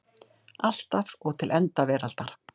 Alltaf og til enda veraldar.